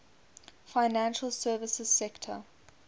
financial services sector